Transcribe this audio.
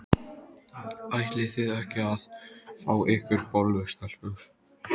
Ætlið þið ekki að fá ykkur bollu, stelpur?